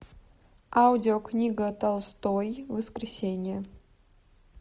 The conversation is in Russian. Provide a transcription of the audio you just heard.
аудиокнига толстой воскресенье